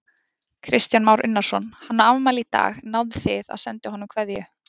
Kristján Már Unnarsson: Hann á afmæli í dag, náðuð þið að senda honum kveðju?